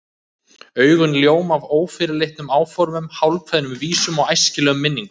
Augun ljóma af ófyrirleitnum áformum, hálfkveðnum vísum og æsilegum minningum.